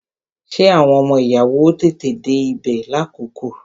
Ṣé àwọn ọmọ ìyàwó ó tètè dé ibè lákòókò?